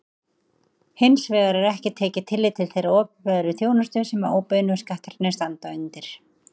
Hins vegar er ekki tekið tillit til þeirrar opinberu þjónustu sem óbeinu skattarnir standa undir.